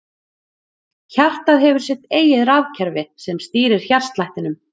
Hjartað hefur sitt eigið rafkerfi sem stýrir hjartslættinum.